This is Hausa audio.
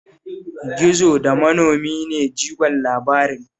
Gizo da manomi ne jigon labarin